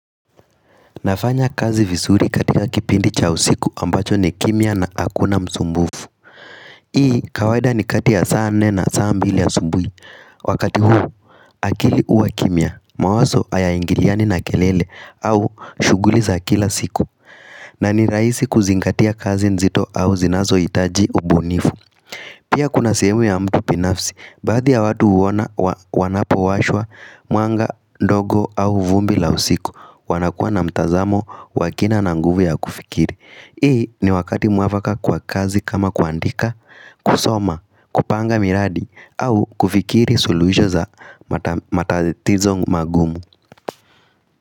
Nafanya kazi vizuri katika kipindi cha usiku ambacho ni kimya na hakuna msumbufu Hii kawaida ni kati ya sa nne na saa mbili asubui Wakati huu akili huwa kimya mawazo hayaingiliani na kelele au shuguliza kila siku na ni rahisi kuzingatia kazi nzito au zinazo itaji ubunifu Pia kuna sehemu ya mtu binafsi Baadhi ya watu uona wanapo washwa mwanga ndogo au vumbi la usiku wanakua na mtazamo wa kina na nguvu ya kufikiri Hii ni wakati mwafaka kwa kazi kama kuandika kusoma, kupanga miradi au kufikiri suluisho za matatizo magumu.